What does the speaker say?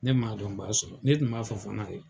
Ne ma dɔn n b'a sɔrɔ, ne tun b'a fɔ fana de.